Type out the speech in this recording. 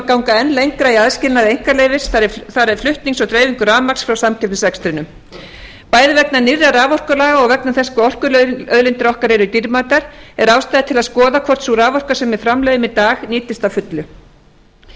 ganga enn lengra í aðskilnaði einkaleyfis þar er flutnings og dreifingu rafmagns frá samkeppnisrekstrinum bæði vegna nýrra raforkulaga og vegna þess hvað orkuauðlindir okkar eru dýrmætar er ástæða til að skoða hvort sú raforka sem við framleiðum í dag nýtist að fullu